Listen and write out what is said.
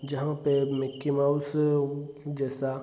जहा पे Mickey Mouse अ जैसा --